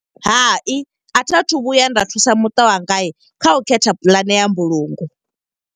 Hai, a thi a thu vhuya nda thusa muṱa wanga kha u khetha pulane ya mbulungo.